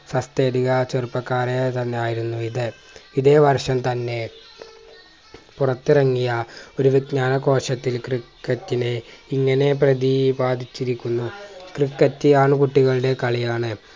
ചെറുപ്പക്കാരെ തന്നെ ആയിരുന്നു ഇത് ഇതേവർഷം തന്നെ പുറത്തിറങ്ങിയ ഒരു വിഞ്ജാനകോശത്തിൽ ക്രിക്കറ്റിനെ ഇങ്ങനെ പ്രതിപാതിച്ചിരിക്കുന്നു ക്രിക്കറ്റ് ആൺ കുട്ടികളുടെ കളിയാണ്